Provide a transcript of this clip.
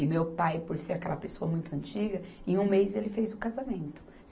E meu pai, por ser aquela pessoa muito antiga, em um mês ele fez o casamento.